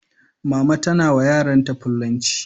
Mama tana wa yaran ta fullanci